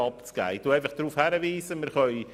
Ich weise einfach auf Folgendes hin: